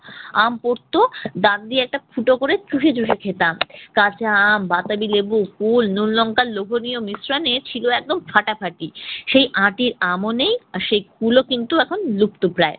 আম পড়তো দাঁত দিয়ে একটা ফুটো করে চুষে চুষে খেতাম। কাঁচা আম, বাতাবি লেবু, কুল নুন লঙ্কার লোভনীয় মিশ্রণে ছিল একদম ফাটাফাটি। সেই আঁটির আমও নেই আর সেই কুলও কিন্তু এখন লুপ্ত প্রায়।